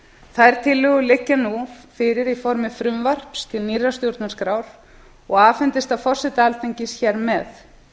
þær tillögur liggja nú fyrir í formi frumvarps til nýrrar stjórnarskrár og afhendist það forseta alþingis hér með